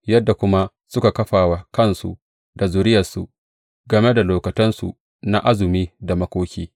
Yadda kuma suka kafa wa kansu da zuriyarsu, game da lokutansu na azumi da makoki.